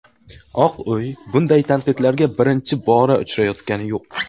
Oq uy bunday tanqidlarga birinchi bora uchrayotgani yo‘q.